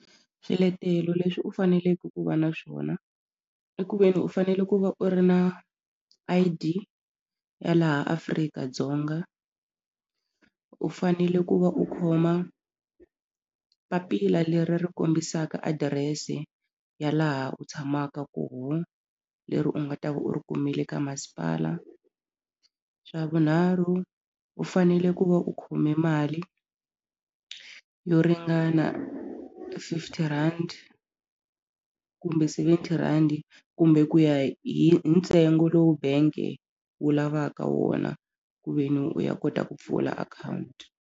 Swiletelo leswi u faneleke ku va na swona i ku ve ni u fanele ku va u ri na I_D ya laha Afrika-Dzonga u fanele ku va u khoma papila leri ri kombisaka adirese ya laha u tshamaka koho leri u nga ta va u ri kumile ka masipala xa vunharhu u fanele ku va u khome mali yo ringana fifty rand kumbe seventy rhandi kumbe ku ya hi hi ntsengo lowu bank-e wu lavaka wona ku ve ni u ya kota ku pfula akhawunti.